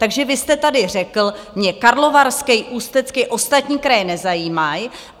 Takže vy jste tady řekl: Mě Karlovarský, Ústecký, ostatní kraje nezajímají.